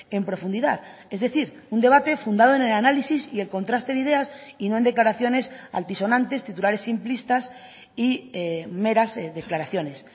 en profundidad es decir un debate fundado en el análisis y el contraste de ideas y no en declaraciones altisonantes titulares simplistas y meras declaraciones